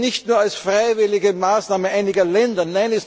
Und das nicht nur als freiwillige Maßnahme einiger Länder.